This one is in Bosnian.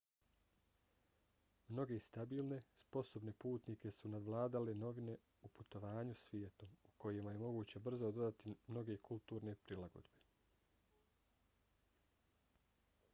mnoge stabilne sposobne putnike su nadvladale novine u putovanju svijetom u kojima je moguće brzo dodati mnoge kulturne prilagodbe